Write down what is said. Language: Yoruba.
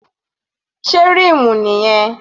Sé rímù nìyẹn?